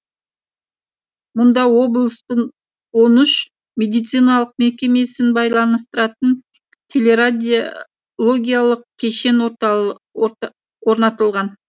мұнда облыстың он үш медициналық мекемесін байланыстыратын телерадиологиялық кешен орнатылған